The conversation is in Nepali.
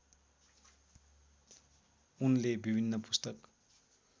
उनले विभिन्न पुस्तक